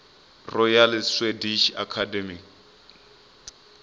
royal swedish academy